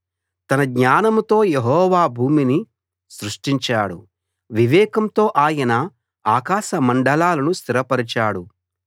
తన జ్ఞానంతో యెహోవా భూమిని సృష్టించాడు వివేకంతో ఆయన ఆకాశ మండలాలను స్థిరపరచాడు